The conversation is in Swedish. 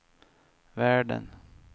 världen